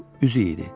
Bu üzüyü idi.